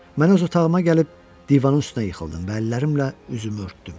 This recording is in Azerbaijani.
Mən öz otağıma gəlib divanın üstünə yıxıldım və əllərimlə üzümü örtdüm.